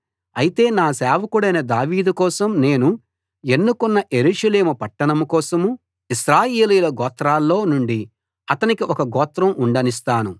అయితే నా సేవకుడైన దావీదు కోసం నేను ఎన్నుకున్న యెరూషలేము పట్టణం కోసం ఇశ్రాయేలీయుల గోత్రాల్లో నుండి అతనికి ఒక గోత్రం ఉండనిస్తాను